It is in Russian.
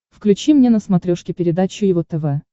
включи мне на смотрешке передачу его тв